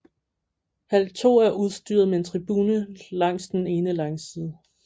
Hal 2 er udstyret med en tribune langs den ene langside